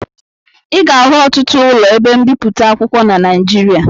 Ị ga-ahụ ọtụtụ ụlọ ebe mbipụta akwụkwọ na Naịjirịa